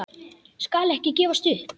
Skal ekki gefast upp.